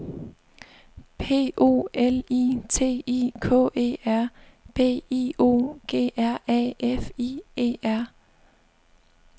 P O L I T I K E R B I O G R A F I E R